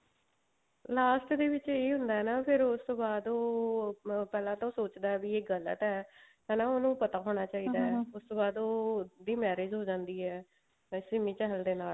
last ਦੇ ਵਿੱਚ ਇਹ ਹੁੰਦਾ ਨਾ ਫ਼ੇਰ ਉਸਤੋਂ ਬਾਅਦ ਉਹ ਪਹਿਲਾਂ ਤਾਂ ਉਹ ਸੋਚਦਾ ਵੀ ਇਹ ਗਲਤ ਹੈ ਹਨਾ ਉਹਨੂੰ ਪਤਾ ਉਸਤੋਂ ਬਾਅਦ ਉਹ ਦੀ marriage ਹੋ ਜਾਂਦੀ ਹੈ ਸਿੰਮੀ ਚਹਿਲ ਦੇ ਨਾਲ